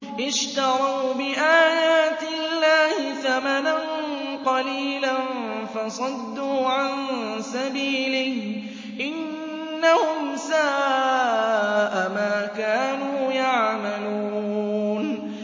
اشْتَرَوْا بِآيَاتِ اللَّهِ ثَمَنًا قَلِيلًا فَصَدُّوا عَن سَبِيلِهِ ۚ إِنَّهُمْ سَاءَ مَا كَانُوا يَعْمَلُونَ